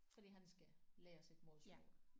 Fordi han skal lære sit modersmål